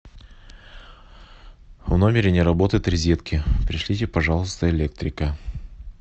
в номере не работают розетки пришлите пожалуйста электрика